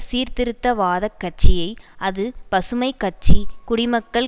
சீர்திருத்தவாத கட்சியை அது பசுமை கட்சி குடிமக்கள்